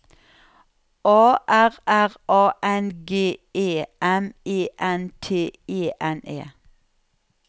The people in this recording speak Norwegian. A R R A N G E M E N T E N E